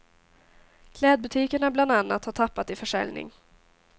Klädbutikerna bland annat har tappat i försäljning.